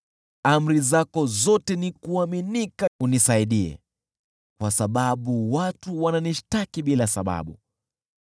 Amri zako zote ni za kuaminika; unisaidie, kwa sababu watu wananishtaki bila sababu.